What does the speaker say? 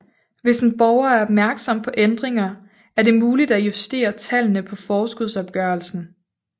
Hvis en borger er opmærksom på ændringer er det muligt at justere tallene på forskudsopgørelsen